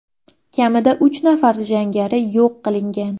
Kamida uch nafar jangari yo‘q qilingan.